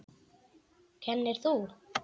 Kennir þú?